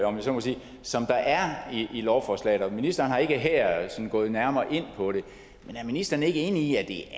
om jeg så må sige som der er i lovforslaget ministeren er ikke her sådan gået nærmere ind på det men er ministeren ikke enig i at det